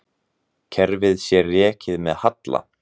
Kerfið sé rekið með halla.